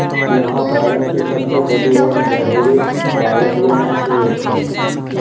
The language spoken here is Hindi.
यह भारत की सबसे बड़ी और गहरी बावड़ियों में से एक है